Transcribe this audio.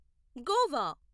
Goa